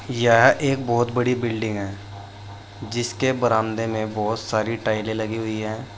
यह एक बहुत बड़ी बिल्डिंग है जिसके बरामदे में बहुत सारी टाइले लगी हुई है।